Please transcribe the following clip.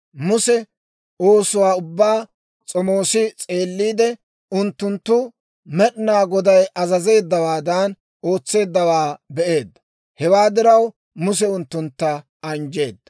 Muse oosuwaa ubbaa s'omoos s'eelliide, unttunttu Med'inaa Goday azazeeddawaadan ootseeddawaa be'eedda. Hewaa diraw, Muse unttuntta anjjeedda.